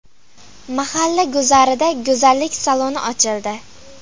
Mahalla guzarida go‘zallik saloni ochildi.